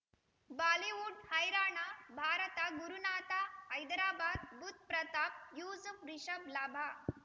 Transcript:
Bollywood ಹೈರಾಣ ಭಾರತ ಗುರುನಾಥ ಹೈದರಾಬಾದ್ ಬುಧ್ ಪ್ರತಾಪ್ ಯೂಸುಫ್ ರಿಷಬ್ ಲಾಭ